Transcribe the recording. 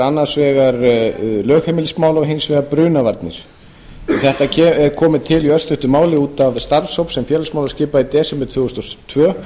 annars vegar lögheimilismála og hins vegar brunavarnir þetta er komið til í örstuttu máli út af starfshóp sem félagsmálaráðherra skipaði í desember tvö þúsund og tvö